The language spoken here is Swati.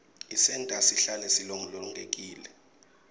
tisenta sihlale silolongekile